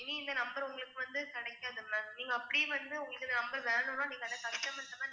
இனி இந்த number உங்களுக்கு வந்து கிடைக்காது ma'am நீங்க அப்படியே வந்து உங்களுக்கு இந்த number வேணும்னா, நீங்க அந்த customer கிட்டதான்